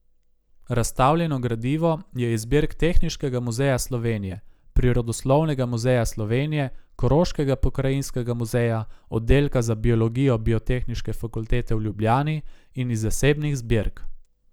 Razstavljeno gradivo je iz zbirk Tehniškega muzeja Slovenije, Prirodoslovnega muzeja Slovenije, Koroškega pokrajinskega muzeja, oddelka za biologijo Biotehniške fakultete v Ljubljani in iz zasebnih zbirk.